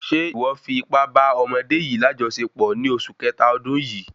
Ṣe iwọ fi ipá bá ọmọdé yìí lajọsepọ ní oṣù kẹta ọdún yìí?